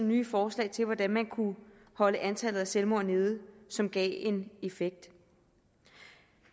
nye forslag til hvordan man kunne holde antallet af selvmord nede som gav en effekt